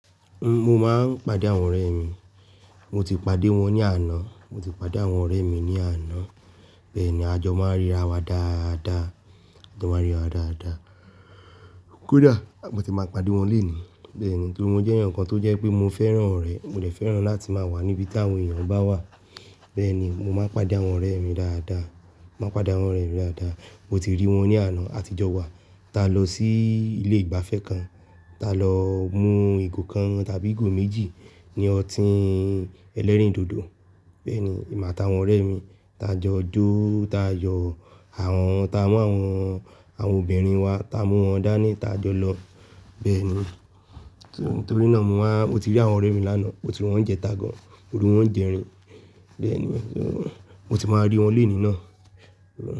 N-- mo máa ń pàdé àwọn ọ̀rẹ́ mi, mo ti pàdé wọn ní àná, mo ti pàdé àwọn ọ̀rẹ́ mi ní àná. Bẹ́ẹ̀ ni, àjọ máa ń ríra wa dáadáa, àjọ máa ń ríra wa dáadáa. Kódà, mo ti máa pàdé wọn lónìí. Bẹ́ẹ̀ni, torí mo jẹ́ èèyàn kan tó jẹ́ pé mo fẹ́ràn ọ̀rẹ́, mo dè fẹ́ràn láti máa wà níbi tí àwọn èèyàn bá wà. Bẹ́ẹ̀ni, mo máa ń pàdé àwọn ọ̀rẹ́ mi dáadáa, máa ń pàdé àwọn ọ̀rẹ́ mi dáadáa. Mo ti rí wọn ní àná, àtijọ́ wa, ta lọ sí ilé ìgbafẹ́ kan, ta lọ mú ìgò kan tàbí ìgò méjì ní ọtín ẹlẹ́rìndòdò. Bẹ́ẹ̀ni, èmi àti àwọn ọ̀rẹ́ mi, ta jọ jó, ta yo àwọn ta mú àwọn, àwọn obìnrin wa, ta mú wọn dání, ta jọ lọ. Bẹ́ẹ̀ni, torí náà mo wá, mo ti rí àwọn ọ̀rẹ́ mi lánàá, mo ti rí wọn ní ijẹ ta gan-an, ó rí wọn ní jẹrin. Bẹ́ẹ̀ ni, mo ti máa rí wọn lónìí náà.